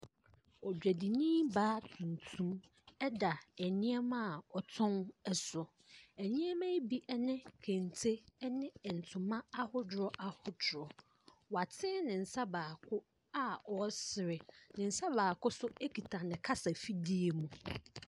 Odwadinii baa tuntum da nneema a ɔtɔn so. Nneema yi bi ɛne kente, ɛne ntoma ahodoɔ ahodoɔ. Woatene ne nsa baako a ɔresre. Ne nsa baako nso ekuta ne kasa ɛfidie mu.